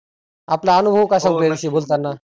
आपला अनुभव कसा बोलताना.